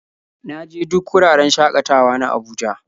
Na je duk wuraren shakatawa na Abuja.